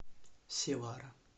севара